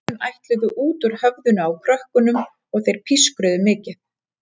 Augun ætluðu út úr höfðinu á krökkunum og þeir pískruðu mikið.